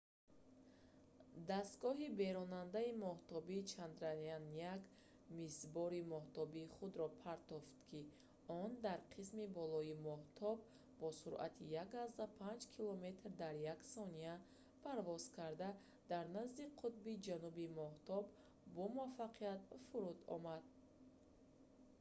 дастгоҳи беронандаи моҳтобӣ чандраяаан-1 мисбори моҳтобии худро mip партофт ки он дар қисми болои моҳтоб бо суръати 1,5 километр дар як сония 3000 мил дар як соат парвоз карда дар назди қутби ҷануби моҳтоб бомуваффақият фуруд омад